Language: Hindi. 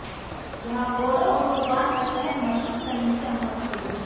यह गोरों ऑटोबान पर सहज महसूस करने की अनुमति देगा